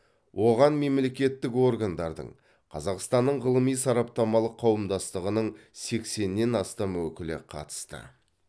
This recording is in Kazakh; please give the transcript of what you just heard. оған мемлекеттік органдардың қазақстанның ғылыми сараптамалық қауымдастығының сексеннен астам өкілі қатысты